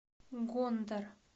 гондэр